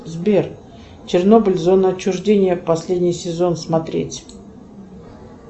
сбер чернобыль зона отчуждения последний сезон смотреть